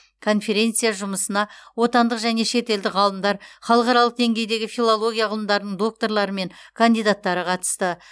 конференция жұмысына отандық және шетелдік ғалымдар халықаралық деңгейдегі филология ғылымдарының докторлары мен кандидаттары қатысты